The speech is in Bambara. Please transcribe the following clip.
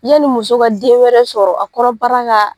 Yanni muso ka den wɛrɛ sɔrɔ a kɔnɔbara ka